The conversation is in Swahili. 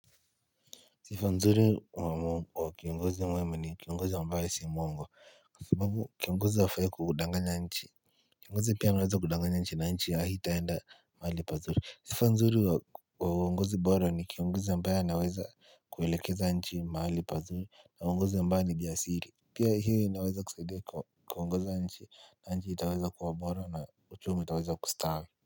Sifa nzuri wa kiongozi mwema ni kiongozi ambaye si mwongo Kwa sababu kiongozi hafai kukudanganya nchi Kiongozi pia anaweza kudanganya nchi na nchi haitaenda mahali pazuri. Sifa nzuri wa wa uongozi bora ni kiongozi ambaye anaweza kuielekeza nchi mahali pazuri na uongozi ambaye ni biya siri Pia hii inaweza kusaidia kwa kuongoza nchi nchi itaweza kuwa bora na uchumiu taweza kustawi.